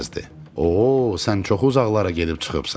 Oo, sən çox uzaqlara gedib çıxıbsan.